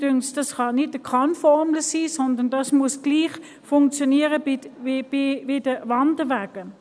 Mich dünkt, das könne keine Kann-Formel sein, sondern es muss gleich funktionieren wie bei den Wanderwegen.